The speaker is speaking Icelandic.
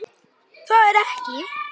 Það er ekki.